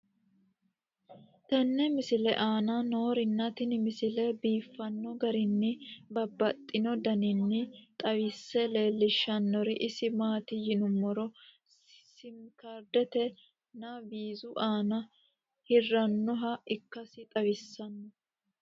tenne misile aana noorina tini misile biiffanno garinni babaxxinno daniinni xawisse leelishanori isi maati yinummoro simi kaariddete nna wiizu aanna heeranoha ikkassi xawissanno